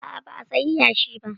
A'a ba a sayi yashi ba